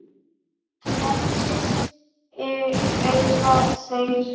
Frelsi segja þeir.